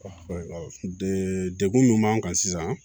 dekun minnu b'an kan sisan